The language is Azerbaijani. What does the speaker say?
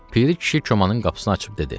Piri kişi komanın qapısını açıb dedi: